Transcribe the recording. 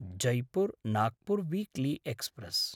Jaipur Nagpur weekly express